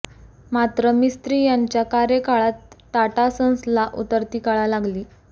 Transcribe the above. मात्र मिस्त्री यांच्या कार्यकाळात टाटा सन्सला उतरती कळा लागली